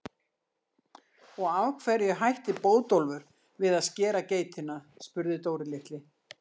Og af hverju hætti Bótólfur við að skera geitina? spurði Dóri litli.